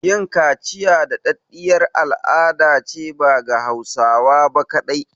Yin kaciya da ɗaɗɗiyar al'adace ba ga Hausawa ba kaɗai